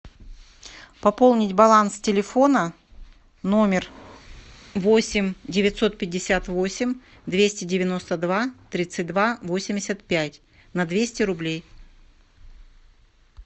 пополнить баланс телефона номер восемь девятьсот пятьдесят восемь двести девяносто два тридцать два восемьдесят пять на двести рублей